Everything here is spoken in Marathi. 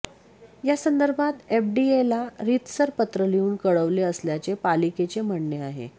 यासंदर्भात एफडीएला रितसर पत्र लिहून कळवले असल्याचे पालिकेचे म्हणणे आहे